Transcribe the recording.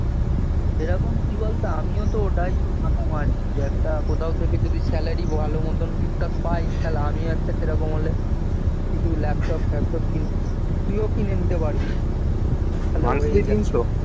এরকম কি বলতো আমিও তো ওটাই মাথা মারছি যে একটা কোথাও থেকে যদি একটা salary ভালোমতো ঠিক ঠাক পাই সালা আমিও সেরকম হলে কিছু ল্যাপটপ ফ্যাপটপ কিনে তুইও কিনে নিতে পারবি